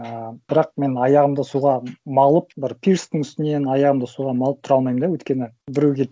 ыыы бірақ мен аяғымды суға малып бір пирстің үстінен аяғымды суға малып тұра алмаймын да өйткені біреу келіп